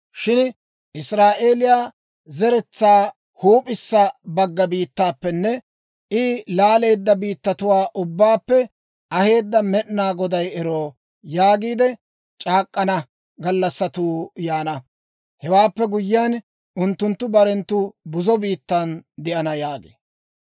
Shin, ‹Israa'eeliyaa zeretsaa huup'issa bagga biittaappenne I laaleedda biittatuwaa ubbaappe aheedda Med'inaa Goday ero› yaagiide c'aak'k'ana gallassatuu yaana. Hewaappe guyiyaan unttunttu barenttu buzo biittan de'ana» yaagee.